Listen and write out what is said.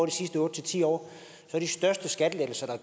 de sidste otte ti år at de største skattelettelser der